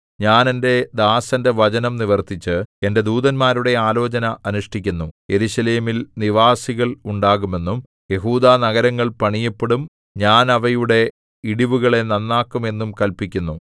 ഞാൻ എന്റെ ദാസന്റെ വചനം നിവർത്തിച്ച് എന്റെ ദൂതന്മാരുടെ ആലോചന അനുഷ്ഠിക്കുന്നു യെരൂശലേമിൽ നിവാസികൾ ഉണ്ടാകുമെന്നും യെഹൂദാനഗരങ്ങൾ പണിയപ്പെടും ഞാൻ അവയുടെ ഇടിവുകളെ നന്നാക്കും എന്നും കല്പിക്കുന്നു